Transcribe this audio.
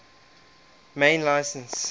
main license